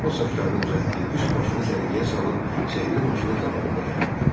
O saçlarını düzəltdi, üst başını səliqəyə salıb sehrli maşının qabağında dayandı.